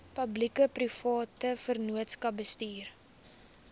publiekeprivate vennootskappe bestuur